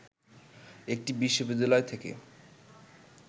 একটি বিশ্ববিদ্যালয় থেকে